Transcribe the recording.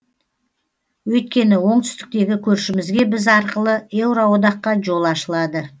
өйткені оңтүстіктегі көршімізге біз арқылы еуроодаққа жол ашылады